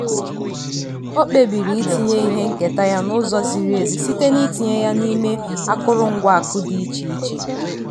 o kpebiri itinye ihe nketa ya n'ụzọ ziri ezi site n’itinye ya n’ime akụrụngwa akụ̀ dị iche iche.